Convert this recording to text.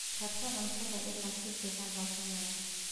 Karso cuntada ilaa si fiican loo sameeyo.